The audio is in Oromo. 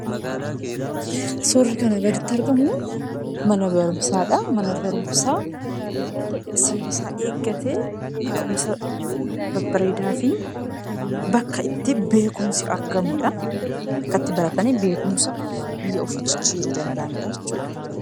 Suurri kana gaditti argamu mana barumsaadha. Mana barumsaa seera isaa eeggate, taa'umsa babbareedaa fi bakka itti beekumsi argamuudha. Bakka itti baratanii beekumsaan biyya ofii jijjiiruu danda'aniidha jechuudha.